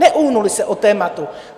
Neuhnuli se od tématu.